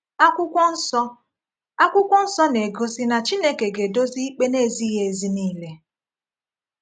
Akwụkwọ Nsọ Akwụkwọ Nsọ na-egosi na Chineke ga-edozi ikpe na-ezighị ezi niile.